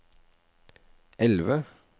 elve